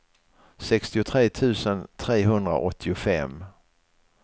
sextiotre tusen trehundraåttiofem